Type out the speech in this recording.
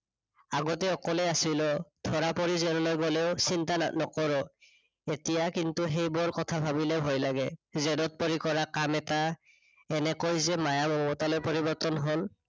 আগতে অকলে আছিলো, ধৰা পৰি জেললৈ গলেও চিন্তা নানকৰো। এতিয়া কিন্তু সেইবোৰ কথা ভাবিলে ভয় লাগে। জেদত পৰি কৰা কাম এটা, এনেকৈ যে মায়া মমতালৈ পৰিৰ্বতন হল